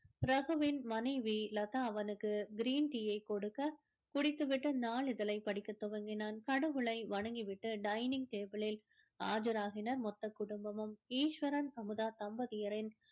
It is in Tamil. ரகுவின் மனைவி லதா அவனுக்கு green tea யை கொடுக்க குடித்து விட்டு நாளிதழை படிக்க துவங்கினான் கடவுளை வணங்கி விட்டு dining table ளில் ஆஜராகினர் ஆகினர் மொத்த குடும்பமும் ஈஸ்வரன் அமுதா தம்பதியரின்